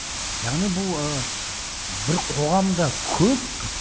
яғни бұл ы бір қоғамда көп